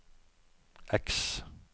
X